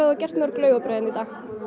gert mörg laufabrauð hérna